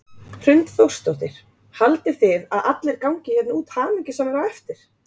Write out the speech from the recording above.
Hrund Þórsdóttir: Haldið þið að allir gangi hérna út mjög hamingjusamir á eftir?